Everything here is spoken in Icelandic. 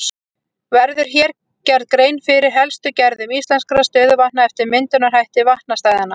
Verður hér gerð grein fyrir helstu gerðum íslenskra stöðuvatna eftir myndunarhætti vatnastæðanna.